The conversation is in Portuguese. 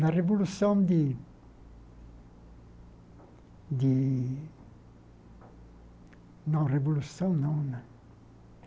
Na Revolução de de... Não, Revolução não né.